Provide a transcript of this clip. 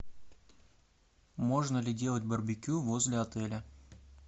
можно ли делать барбекю возле отеля